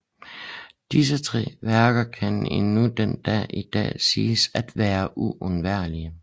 Disse tre værker kan endnu den dag i dag siges at være uundværlige